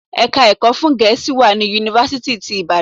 Ẹ̀ka ẹ̀kọ́ fún Gẹ̀ẹ́sì wà ní Yunifásítì ti Ìbàdàn.